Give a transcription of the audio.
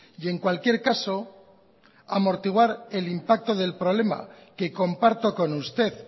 y en cualquier caso amortiguar el impacto del problema que comparto con usted